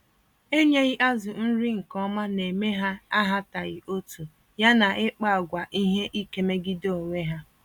Enyeghị azụ nri nke ọma némè' ha ahataghị otú, ya na ịkpa àgwà ihe ike megide onwe ha.